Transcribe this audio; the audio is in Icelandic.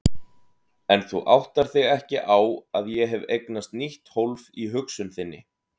En þú áttar þig ekki á að ég hef eignast nýtt hólf í hugsun þinni.